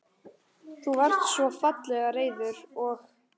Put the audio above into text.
Þú varst svo fallega reiður og.